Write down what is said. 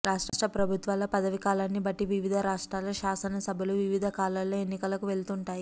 రాష్ట్ర ప్రభుత్వాల పదవీకాలాన్ని బట్టి వివిధ రాష్ట్రాల శాసనసభలు వివిధ కాలాల్లో ఎన్నికలకు వెళ్తుంటాయి